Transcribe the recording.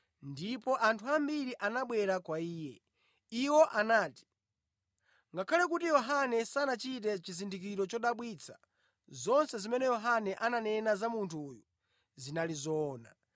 ndipo anthu ambiri anabwera kwa Iye. Iwo anati, “Ngakhale kuti Yohane sanachite chizindikiro chodabwitsa, zonse zimene Yohane ananena za munthu uyu zinali zoona.”